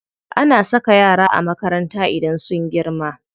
Ana saka yara a makaranta idan sun girma.